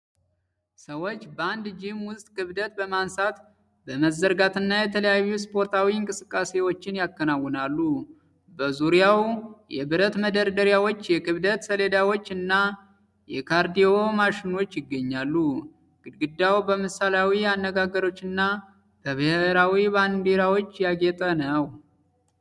ሰዎች በአንድ ጂም ውስጥ ክብደት በማንሳት፣ በመዘርጋትና የተለያዩ ስፖርታዊ እንቅስቃሴዎችን ያከናውናሉ። በዙሪያቸው የብረት መደርደሪያዎች፣ የክብደት ሰሌዳዎች እና የካርዲዮ ማሽኖች ይገኛሉ። ግድግዳው በምሳሌያዊ አነጋገሮችና በብሔራዊ ባንዲራዎች ያጌጠ ነው።